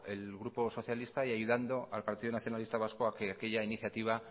el grupo socialista y ayudando al partido nacionalista vasco a que aquella iniciativa